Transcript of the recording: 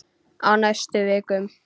Á næstu vikum.